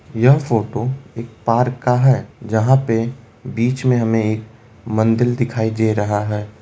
यह फोटो एक पार्क का है जहां पे बीच में हमें एक मंदिर दिखाई दे रहा है।